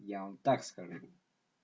я вам так схожу